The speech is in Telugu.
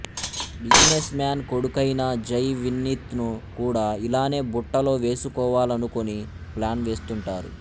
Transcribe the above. బిజినెస్ మ్యాన్ కొడుకైన జై వినీత్ను కూడా ఇలానే బుట్టలో వేసుకోవాలనుకుని ప్లాన్ వేస్తుంటారు